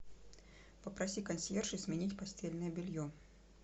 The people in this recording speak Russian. попроси консьержа сменить постельное белье